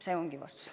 See ongi vastus.